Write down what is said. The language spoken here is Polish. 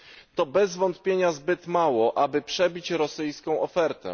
To bez wątpienia zbyt mało, aby przebić rosyjską ofertę.